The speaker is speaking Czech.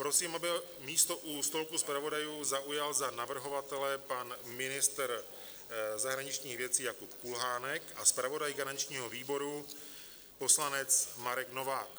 Prosím, aby místo u stolku zpravodajů zaujal za navrhovatele pan ministr zahraničních věcí Jakub Kulhánek a zpravodaj garančního výboru poslanec Marek Novák.